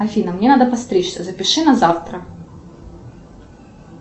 афина мне надо подстричься запиши на завтра